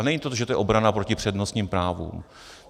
A není to, že to je obrana proti přednostním právům.